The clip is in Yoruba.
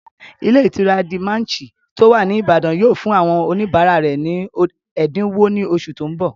Ilé ìtura De Manchy tó wà ní Ìbàdàn yóò fún àwọn oníbàárà rẹ̀ ní ẹ̀dínwó ní oṣù tó n bọ̀